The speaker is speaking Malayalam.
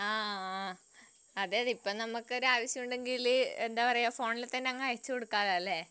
ആഹ് അതെ ഇപ്പം നമ്മക്ക് ഒരാവശ്യം ഉണ്ടെങ്കില് എന്താ പറയാ ഫോണിൽ തന്നെ അങ്ങ് അയച്ചുകൊടുക്കലോ അല്ലെ